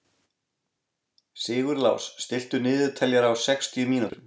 Sigurlás, stilltu niðurteljara á sextíu mínútur.